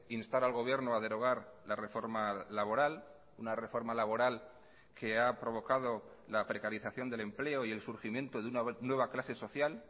instar al gobierno a derogar la reforma laboral una reforma laboral que ha provocado la precarización del empleo y el surgimiento de una nueva clase social